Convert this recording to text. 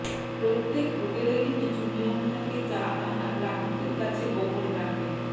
প্রত্যেক হোটেলেরই কিছু নিয়ম থাকে যা তাঁরা গ্রাহকদের কাছে গোপন রাখেন